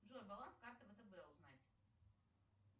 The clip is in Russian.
джой баланс карты втб узнать